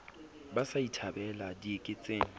ba sa e thabela dieketseng